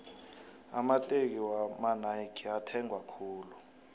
amateki wakwanayki ethengwa khulu